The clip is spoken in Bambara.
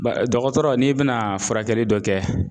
dɔgɔtɔrɔ n'i bɛna furakɛli dɔ kɛ,